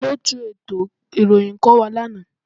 Olóòtù ètò ìròyìn kò wá lánàá